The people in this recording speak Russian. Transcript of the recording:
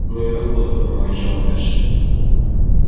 ну и работка проворчал эш